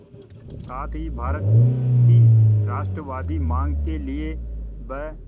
साथ ही भारत की राष्ट्रवादी मांग के लिए ब्